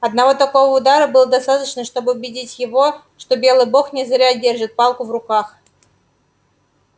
одного такого удара было достаточно чтобы убедить его что белый бог не зря держит палку в руках